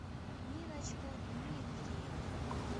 ниночку дмитриеву